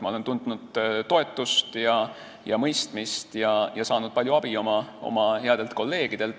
Ma olen tundnud toetust ja mõistmist ning saanud palju abi oma headelt kolleegidelt.